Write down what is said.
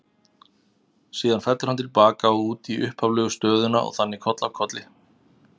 Síðan fellur hann til baka og út í upphaflegu stöðuna og þannig koll af kolli.